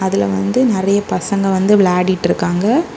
இதுல வந்து நெறைய பசங்க வந்து வேலாடிட்ருக்காங்க.